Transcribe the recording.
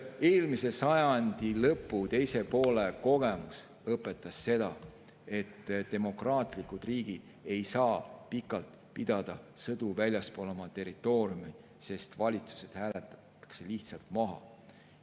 Eelmise sajandi lõpu või teise poole kogemus õpetas seda, et demokraatlikud riigid ei saa pikalt pidada sõdu väljaspool oma territooriumi, sest valitsused hääletatakse lihtsalt maha.